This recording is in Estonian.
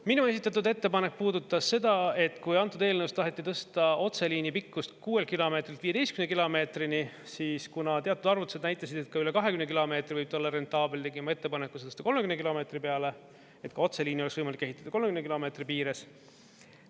Minu esitatud ettepanek puudutas seda, et kui antud eelnõus taheti tõsta otseliini pikkust 6 kilomeetrilt 15 kilomeetrini, siis kuna teatud arvutused näitasid, et ka üle 20 kilomeetri võib ta olla rentaabel, tegin ma ettepaneku see tõsta 30 kilomeetri peale, et otseliini oleks võimalik ehitada 30 kilomeetri piires.